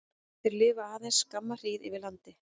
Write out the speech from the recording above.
Þeir lifa aðeins skamma hríð yfir landi.